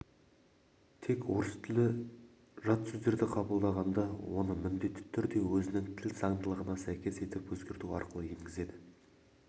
тек орыс тілі жат сөздерді қабылдағанда оны міндетті түрде өзінің тіл заңдылығына сәйкес етіп өзгерту арқылы енгізеді